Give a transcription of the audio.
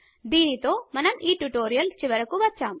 దీనితో మనము ఈ ట్యుటోరియల్ చివరికి వచ్చాము